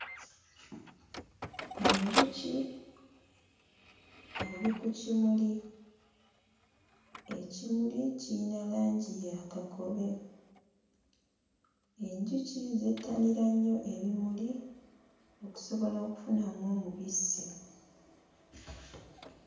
Enjuki eri ku kimuli, ekimuli kiyina langi ya kakobe, enjuki zettanira nnyo ebimuli okusobola okufunamu omubisi.